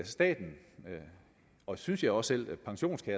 staten og synes jeg også